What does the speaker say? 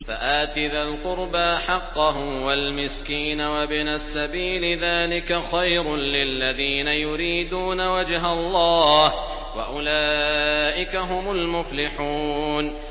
فَآتِ ذَا الْقُرْبَىٰ حَقَّهُ وَالْمِسْكِينَ وَابْنَ السَّبِيلِ ۚ ذَٰلِكَ خَيْرٌ لِّلَّذِينَ يُرِيدُونَ وَجْهَ اللَّهِ ۖ وَأُولَٰئِكَ هُمُ الْمُفْلِحُونَ